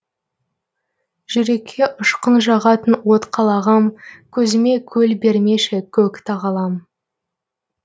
жүрекке ұшқын жағатын от қалағам көзіме көл бермеші көк тағалам